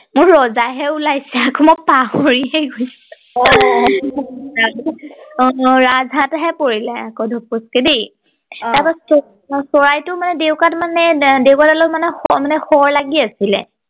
মোৰ ৰজা হে ওলাইছে আকৌ মই পাহৰি এই গৈছো অ অ ৰাজ হাঁহ এটা হে পৰিলে আকৌ ধূপুচকে দেই অ তাৰ পা চৰাইটো মানে ডেউকাত মানে ডেউকা দালত মানে শৰ শৰ লাগি লাগি আছিলে